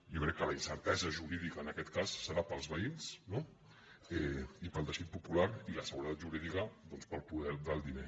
jo crec que la incertesa jurídica en aquest cas serà per als veïns no i per al teixit popular i la seguretat jurídica doncs per al poder del diner